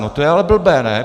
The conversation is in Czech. No to je ale blbé, ne?